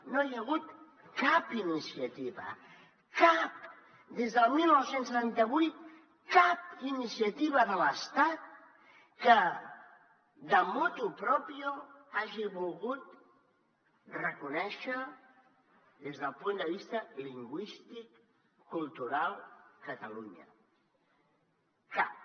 no hi ha hagut cap iniciativa cap des del dinou setanta vuit cap iniciativa de l’estat que motu proprio hagi volgut reconèixer des del punt de vista lingüístic cultural catalunya cap